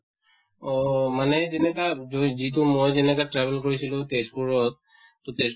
অহ মানে যেনেকা জুই যিটো মই যেনেকা travel কৰিছিলোঁ তেজ্পুৰত তʼ তেজ